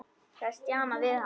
Það er stjanað við hana.